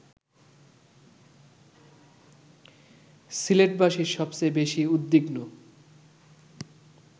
সিলেটবাসী সবচেয়ে বেশি উদ্বিগ্ন